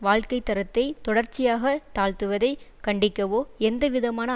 வாழ்க்கைத்தரத்தை தொடர்ச்சியாக தாழ்த்துவதை கண்டிக்கவோ எந்தவிதமான